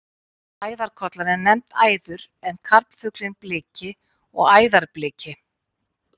Æðarkollan er nefnd æður en karlfuglinn bliki og æðarbliki.